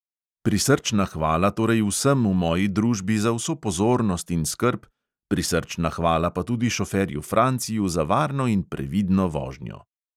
Prisrčna hvala torej vsem v moji družbi za vso pozornost in skrb, prisrčna hvala pa tudi šoferju franciju za varno in previdno vožnjo.